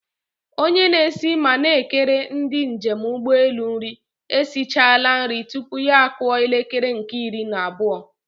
Onye na-esi ma na-ekere ndị njem ụgbọelu nri esichala nri tupu ya akụọ elekere nke iri na abụọ.